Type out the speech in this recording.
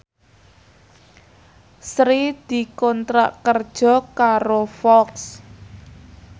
Sri dikontrak kerja karo Fox